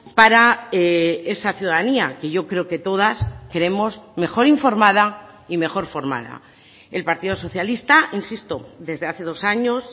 para esa ciudadanía que yo creo que todas queremos mejor informada y mejor formada el partido socialista insisto desde hace dos años